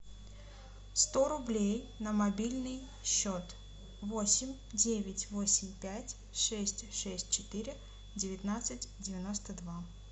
сто рублей на мобильный счет восемь девять восемь пять шесть шесть четыре девятнадцать девяносто два